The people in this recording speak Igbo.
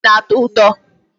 Candy na-atọ ụtọ.